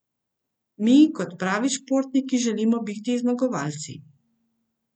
Mi kot pravi športniki želimo biti zmagovalci.